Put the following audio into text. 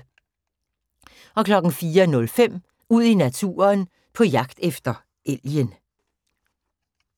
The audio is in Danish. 04:05: Ud i naturen: På jagt efter elgen